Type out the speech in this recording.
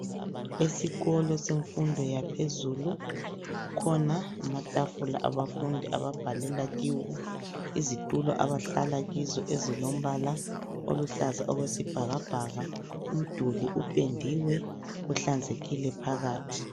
Esikolo semfundo yaphezulu kukhona amatafula abafundi ababhalela kiwo, izitulo abahlala kizo ezilombala oluhlaza okwesibhakabhaka. Umduli upendiwe uhlanzekile phakathi.